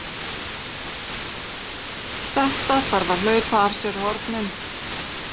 Þetta þarf að hlaupa af sér hornin!